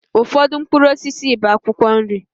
Ụfọdụ mkpụrụ osisi bụ akwụkwọ nri